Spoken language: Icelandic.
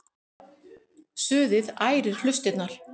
Suðið ærir hlustirnar.